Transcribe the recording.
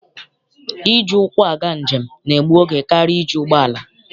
Iji ụkwụ aga njem na-egbu oge karịa iji ụgbọala.